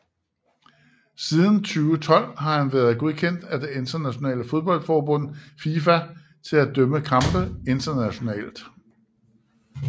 Siden 2012 har han været godkendt af det internationale fodboldforbund FIFA til at dømme kampe internationalt